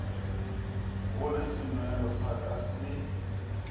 gole senwelo sa ka se